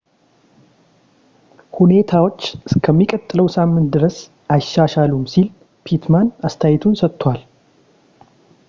ሁኔታዎች እስከሚቀጥለው ሳምንት ድረስ አይሻሻሉም ሲል pittman አስተያየቱን ሰጥቷል